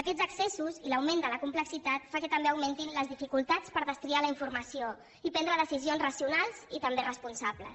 aquests excessos i l’augment de la complexitat fan que també augmentin les dificultats per destriar la informació i prendre decisions racionals i també responsables